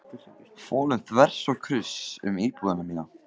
folum þvers og kruss um íbúðina mína!